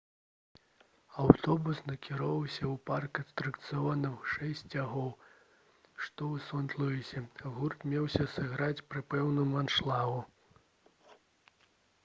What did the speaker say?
аўтобус накіроўваўся ў парк атракцыёнаў «шэсць сцягоў» што ў сент-луісе. гурт меўся сыграць пры поўным аншлагу